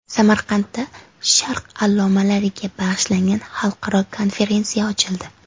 Samarqandda sharq allomalariga bag‘ishlangan xalqaro konferensiya ochildi .